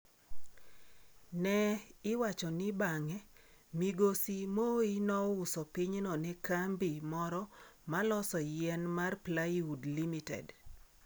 Ne iwacho ni bang'e, migosi. Moi nouso pinyno ne kambi moro maloso yien mar Plywood Limited.